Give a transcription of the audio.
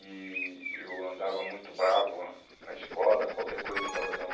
E eu andava muito bravo na escola, qualquer coisa eu estava dando.